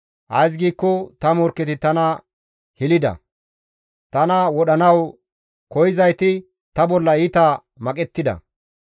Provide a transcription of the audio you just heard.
Ays giikko ta morkketi tana hilida; tana wodhanawu koyzayti ta bolla iita maqettida.